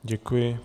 Děkuji.